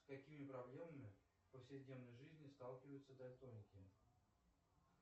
с какими проблемами в повседневной жизни сталкиваются дальтоники